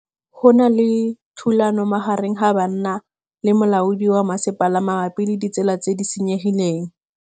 Go na le thulanô magareng ga banna le molaodi wa masepala mabapi le ditsela tse di senyegileng.